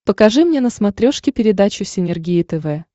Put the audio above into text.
покажи мне на смотрешке передачу синергия тв